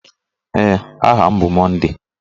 Ee, aha m bụ Monday.